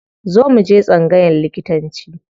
Zo mu je tsangayan likitanci.